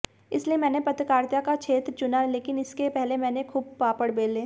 इसलिए मैने पत्रकारिता का क्षेत्र चुना लेकिन इसके पहले मैने खूब पापड़ बेले